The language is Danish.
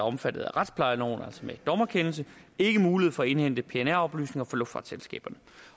omfattet af retsplejeloven altså med dommerkendelse ikke mulighed for at indhente pnr oplysninger fra luftfartsselskaberne